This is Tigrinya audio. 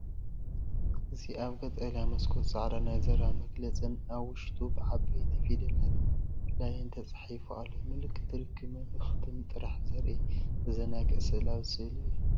እዚ ኣብ ቀጠልያ መስኮት ጻዕዳ ናይ ዘረባ መግለፅ ን፡ ኣብ ውሽጡ ብዓበይቲ ፊደላት ‘ላይን’ ተጻሒፉ ኣሎ። ምልክት ርክብን መልእኽትን ጥራይ ዘርኢ ዘዘናግዕ ስእላዊ ስእሊ እዩ።